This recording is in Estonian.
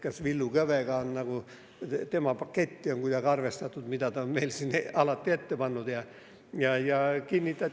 Kas Villu Kõvega, selle paketiga, mida ta on meile siin alati ette pannud, on kuidagi arvestatud?